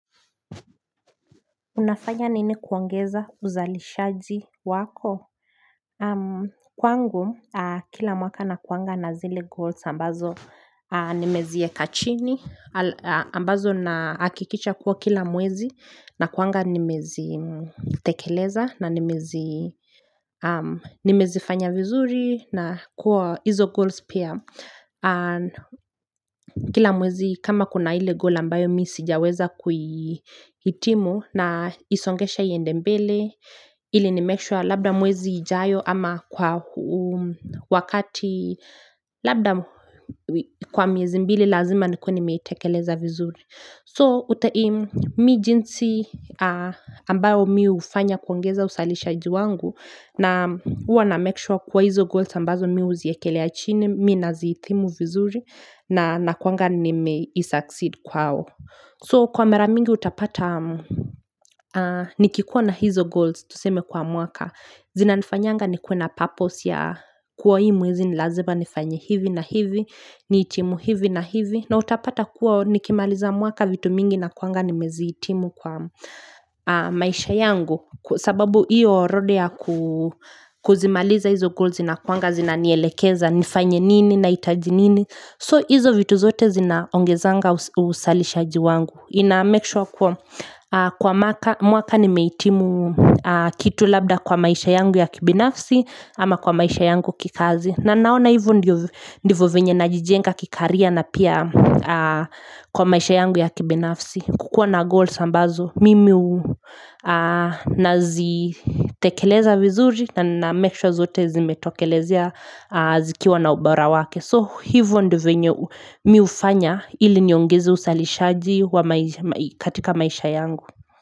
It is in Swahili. Unafanya nini kuongeza uzalishaji wako? Kwangu, kila mwaka nakuanga na zile goals ambazo nimezieka chini, ambazo na hakikisha kuwa kila mwezi, na kuanga nimezi tekeleza, na nimezi fanya vizuri, na kuwa hizo goals pia. Kwa kila mwezi kama kuna ile goal ambayo mi sijaweza kuihitimu naisongesha iende mbele ili ni make sure labda mwezi ijayo ama kwa wakati labda kwa miezi mbili lazima nikuwe ni meitekeleza vizuri So utaimu mi jinsi ambayo mi hufanya kuongeza usalisha ji wangu Naam huwa na make sure kuwa hizo goals ambazo mi hu ziekelea chini, mi na zi hitimu vizuri na kuanga ni meisucceed kwao. So kwa maramingi utapata, nikikuwa na hizo goals tuseme kwa mwaka. Zina nifanyanga ni kuwe na purpose ya kuwa hii mwezi nilazima nifanye hivi na hivi, ni hitimu hivi na hivi. Na utapata kuwa nikimaliza mwaka vitu mingi nakuanga ni mezi hitimu kwa maisha yangu. Sababu iyo rodea kuzimaliza hizo goal zina kuanga zina nielekeza nifanye nini na hitaji nini So hizo vitu zote zina ongezanga uzalisha ji wangu ina make sure kwa mwaka ni mehitimu kitu labda kwa maisha yangu ya kibinafsi ama kwa maisha yangu kikazi na naona hivo ndivyo vyenye najijenga kicareer na pia kwa maisha yangu ya kibinafsi kukua na goals ambazo mimi na zitekeleza vizuri na na make sure zote zimetokelezea zikiwa na ubora wake So hivyo ndio vyenye mi hufanya iliniongeze uzalishaji katika maisha yangu.